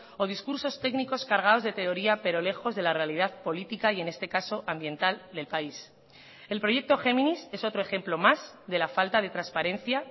o discursos técnicos cargados de teoría pero lejos de la realidad política y en este caso ambiental del país el proyecto géminis es otro ejemplo más de la falta de transparencia